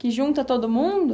Que junta todo mundo?